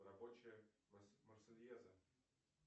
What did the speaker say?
рабочая марсельеза